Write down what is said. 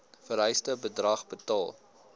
vereiste bedrag betaal